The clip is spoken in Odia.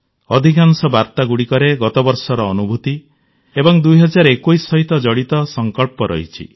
ଅଧିକାଂଶ ବାର୍ତ୍ତାଗୁଡ଼ିକରେ ଗତବର୍ଷର ଅନୁଭୂତି ଏବଂ 2021 ସହିତ ଜଡ଼ିତ ସଂକଳ୍ପ ରହିଛି